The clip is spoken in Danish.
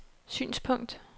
synspunkt